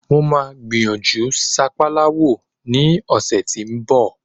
Mo máa gbìyànjú sápálá wò ní ọ̀sẹ̀ tí ń bọ̀.